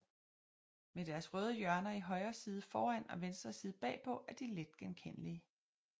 Med deres røde hjørner i højre side foran og venstre side bagpå er de let genkendelige